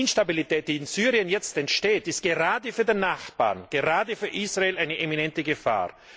Die Instabilität, die jetzt in Syrien entsteht, ist gerade für den Nachbarn, gerade für Israel eine eminente Gefahr.